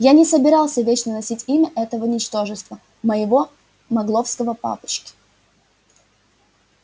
я не собирался вечно носить имя этого ничтожества моего магловского папочки